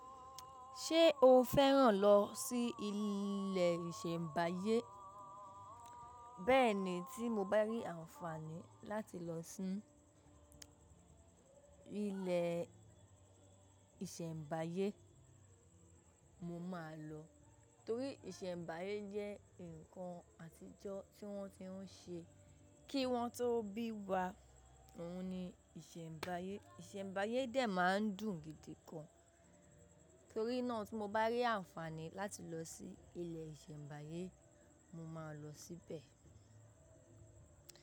Ṣé o fẹ́ràn lọ sí ilé ìsẹ̀mbáyé? Bẹ́ẹ̀ni tí mo bá rí àǹfààní láti lọ sí ilé ìsẹ̀mbáyé mo máa lọ torí ìsẹ̀mbáyé jẹ́ nǹkan àtijọ́ tí wọ́n ti ń ṣe kí wọ́n tó bí wa òun ni ìsẹ̀mbáyé. Ìsẹ̀mbáyé dè máa ń dùn gidi gan torí náà tí mo bá rí àǹfààní láti lọ sí ilé ìsẹ̀mbáyé mo máa lọ síbẹ̀